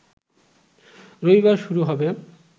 রবিবার শুরু হবে